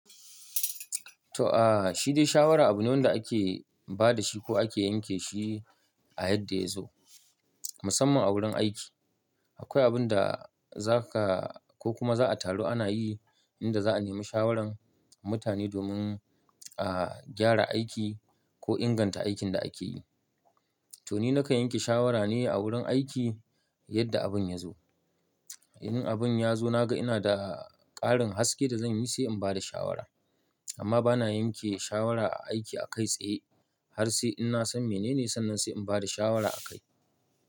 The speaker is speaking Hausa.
To aa, shi dai shawara abu ne wanda ake ba da shi ko ake yanke shi a yadda ya zo, musamman a wurin aiki. Akwai abun da za ka ko kuma za'a taru ana yi, inda za'a nemi shawaran mutane domin a gyara aiki ko inganta aikin da ake yi. To ni na kan yanke shawara ne a wurin aiki yadda abun ya zo. In abun ya zo na ga ina da ƙarin haske da zan yi sai in ba da shawara. Amma bana yanke shawara a aiki a kai tsaye, har sai in na san mene ne sannan sai in ba da shawara a kai.